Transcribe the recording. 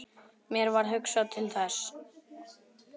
Mér varð hugsað til Þessi!